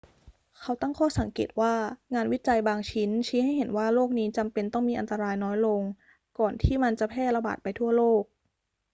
เขาตั้งข้อสังเกตว่า งานวิจัยบางชิ้นชี้ให้เห็นว่าโรคนี้จำเป็นต้องมีอันตรายน้อยลงก่อนที่มันจะแพร่ระบาดไปทั่วโลก